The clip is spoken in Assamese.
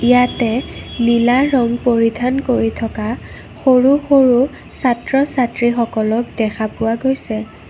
ইয়াতে নীলা ৰঙ পৰিধান কৰি থকা সৰু-সৰু ছাত্ৰ-ছাত্ৰী সকলক দেখা পোৱা গৈছে।